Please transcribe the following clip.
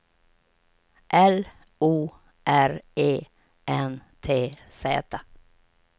L O R E N T Z